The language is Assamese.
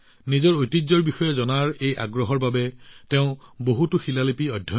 নিজৰ ঐতিহ্য জানিবৰ এই আবেগত তেওঁ বহুতো শিল আৰু শিলালিপি পাইছিল